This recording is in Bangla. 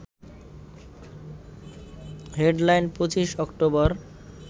deadline ২৫ October